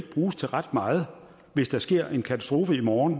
bruges til ret meget hvis der sker en katastrofe i morgen